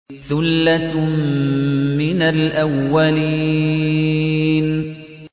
ثُلَّةٌ مِّنَ الْأَوَّلِينَ